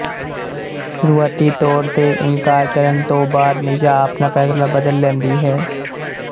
ਸ਼ੁਰੂਆਤੀ ਤੌਰ ਤੇ ਇਨਕਾਰ ਕਰਨ ਤੋਂ ਬਾਅਦ ਨਿਸ਼ਾ ਆਪਣਾ ਫੈਸਲਾ ਬਦਲ ਲੈਂਦੀ ਹੈ